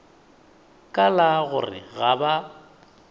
ka la gore ga ba